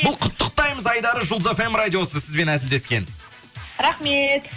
бұл құттықтаймыз айдары жұлдыз фм радиосы сізбен әзілдескен рахмет